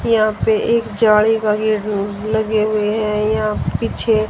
यहां पे एक जाली लगी हुई हैं यहां पीछे--